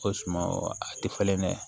Ko sumawo a tɛ falen dɛ